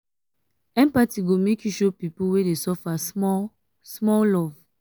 empathy go make you show pipu wey dey suffer small-small love.